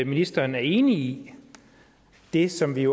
ministeren er enig i det som vi